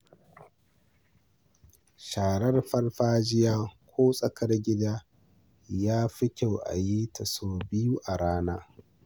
Sharar farfajiya ko tsakar gida yafi kyau a yita sau biyu a rana.